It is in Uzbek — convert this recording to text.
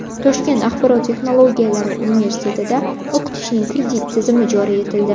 Toshkent axborot texnologiyalari universitetida o‘qitishning kredit tizimi joriy etildi.